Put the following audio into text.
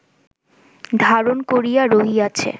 ধারণ করিয়া রহিয়াছে